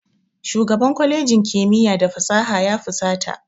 Shugaban kwalejin kimiyya da fasaha ya fusata.